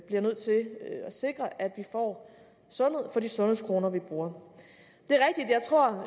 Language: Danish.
bliver nødt til at sikre at vi får sundhed for de sundhedskroner vi bruger